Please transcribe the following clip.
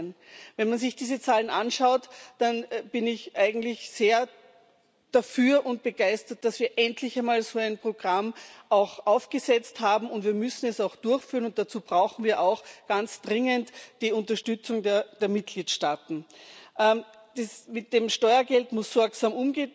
18. Wenn man sich diese Zahlen anschaut, dann bin ich eigentlich sehr dafür und begeistert, dass wir so ein Programm auch endlich einmal aufgesetzt haben, und wir müssen es auch durchführen, und dazu brauchen wir ganz dringend die Unterstützung der Mitgliedstaaten. Mit dem Steuergeld muss sorgsam